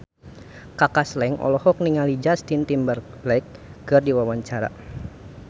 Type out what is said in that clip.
Kaka Slank olohok ningali Justin Timberlake keur diwawancara